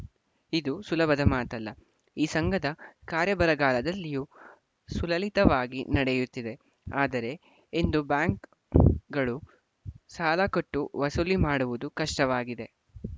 ಇದು ಸುಲಭದ ಮಾತಲ್ಲ ಈ ಸಂಘದ ಕಾರ್ಯ ಬರಗಾಲದಲ್ಲಿಯೂ ಸುಲಲಿತವಾಗಿ ನಡೆಯುತ್ತಿದೆ ಆದರೆ ಇಂದು ಬ್ಯಾಂಕುಗಳು ಸಾಲ ಕೊಟ್ಟು ವಸೂಲಿ ಮಾಡುವುದು ಕಷ್ಟವಾಗಿದೆ